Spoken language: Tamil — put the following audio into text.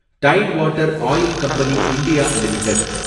tight water oil company India limited